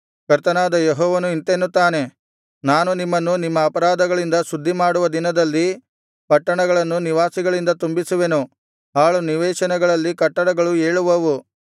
ಕರ್ತನಾದ ಯೆಹೋವನು ಇಂತೆನ್ನುತ್ತಾನೆ ನಾನು ನಿಮ್ಮನ್ನು ನಿಮ್ಮ ಅಪರಾಧಗಳಿಂದೆಲ್ಲಾ ಶುದ್ಧಿ ಮಾಡುವ ದಿನದಲ್ಲಿ ಪಟ್ಟಣಗಳನ್ನು ನಿವಾಸಿಗಳಿಂದ ತುಂಬಿಸುವೆನು ಹಾಳು ನಿವೇಶನಗಳಲ್ಲಿ ಕಟ್ಟಡಗಳು ಏಳುವವು